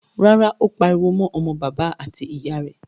Rárá, ó pariwo mọ́ bàbá àti ìyà rẹ̀.